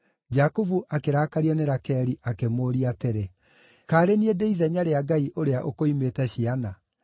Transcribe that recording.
Jakubu akĩrakario nĩ Rakeli akĩmũũria atĩrĩ, “Kaarĩ niĩ ndĩ ithenya rĩa Ngai ũrĩa ũkũimĩte ciana?”